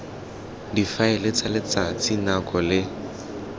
difaele tsa letsatsi nako le